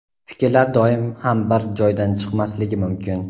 Fikrlar doim ham bir joydan chiqmasligi mumkin.